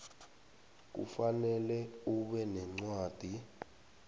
kufanele ube nencwadi